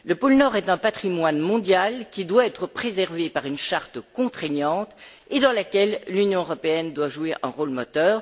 Le pôle Nord est un patrimoine mondial, qui doit être préservé par une charte contraignante et dans laquelle l'Union européenne doit jouer un rôle moteur.